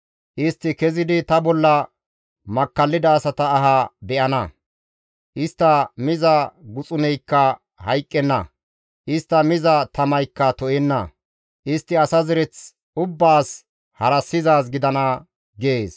Istti kezidi ta bolla makkallida asata aha be7ana. Istta miza guxuneykka hayqqenna; istta miza tamaykka to7enna. Istti asa zereth ubbaas harassizaaz gidana» gees.